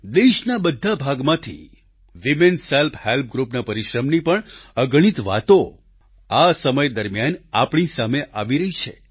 દેશના બધા ભાગમાંથી વીમેન સેલ્ફ હેલ્પ ગૃપના પરિશ્રમની પણ અગણિત વાતો આ સમય દરમિયાન આપણી સામે આવી રહી છે